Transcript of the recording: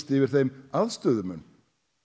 yfir þeim aðstöðumun